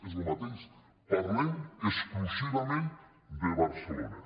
és el mateix parlem exclusivament de barcelona